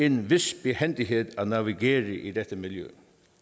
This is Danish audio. en vis behændighed at navigere i det miljø